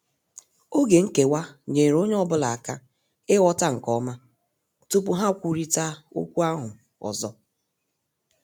Oge nkewa nyeere ọnye ọbụla aka ighọta nke ọma tupu ha kwụrita okwu ahụ ọzọ.